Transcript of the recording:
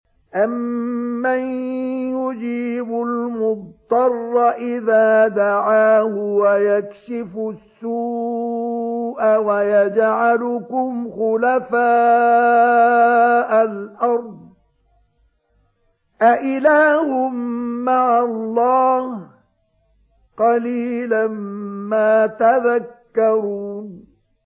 أَمَّن يُجِيبُ الْمُضْطَرَّ إِذَا دَعَاهُ وَيَكْشِفُ السُّوءَ وَيَجْعَلُكُمْ خُلَفَاءَ الْأَرْضِ ۗ أَإِلَٰهٌ مَّعَ اللَّهِ ۚ قَلِيلًا مَّا تَذَكَّرُونَ